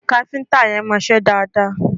Kafinta yẹn mo ṣe dáadáa